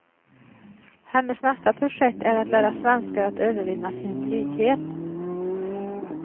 Hennes nästa projekt är att lära svenskar att övervinna sin blyghet.